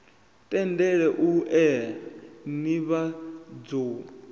tendele u ea nivhadzo u